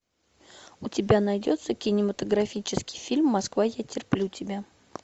у тебя найдется кинематографический фильм москва я терплю тебя